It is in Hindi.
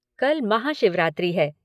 कल महाशिवरात्रि है।